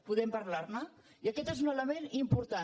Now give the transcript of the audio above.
podem parlar ne i aquest és un element important